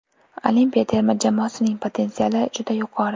Olimpiya terma jamoasining potensiali juda yuqori.